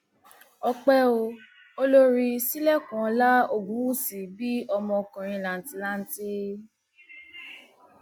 ọpẹ o olórí sílẹkùnọlá ogunwúsì bí ọmọkùnrin làǹtì lanti